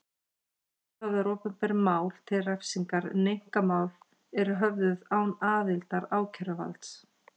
Ákæruvaldið höfðar opinber mál til refsingar en einkamál eru höfðuð án aðildar ákæruvalds.